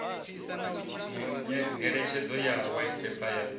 ngeletshedzo ya white paper ya